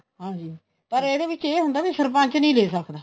ਹਾਂਜੀ ਪਰ ਇਹਦੇ ਵਿੱਚ ਇਹ ਹੁੰਦਾ ਵੀ ਸਰਪੰਚ ਨਹੀਂ ਲੈ ਸਕਦਾ